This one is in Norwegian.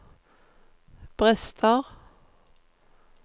brister